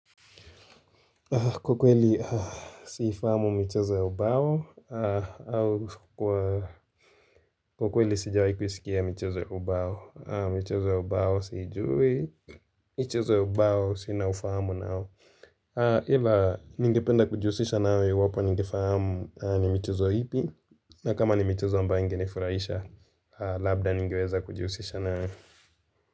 Kwa kweli siifahamu michezo ya ubao au Kwa kweli sijawai kuisikia michezo ya ubao michezo ya ubao siijui michezo ya ubao sina ufahamu nao ila ningependa kujihusisha nayo iwapo ningefahamu ni michezo ipi na kama ni michezo ambaye ingenifuraisha Labda ningeweza kujihusisha nayo.